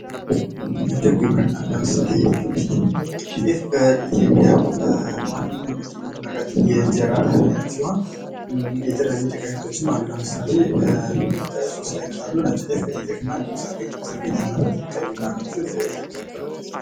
ምድብ ግብርና ። ለምሳሌ የጤፍ ምርት ጤፍ በኢትዮጵያ በዋነኛነት የሚመረት የእንጀራ እህል አይነት ሲሆን የተለያዩ የጤፍ አይነቶችም አሉ ። ለምሳሌ ሶስት አይነት አሉ ነጭ ጤፍ ቀይ ጤፍ እንዲሁም ሰርገኛ , ሰርገኛ ማለት ቀዩ እና ነጩ የተቀላቀለበት ።